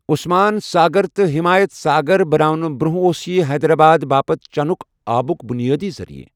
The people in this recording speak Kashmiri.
عثمان ساگر تہٕ ہِمایَت ساگر بناونہٕ برٛنٛہہ اوس یہِ حیدرآبادٕ باپتھ چَنُک آبُک بُنیٲدی ذٔریعہٕ۔